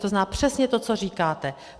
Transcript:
To znamená, přesně to, co říkáte.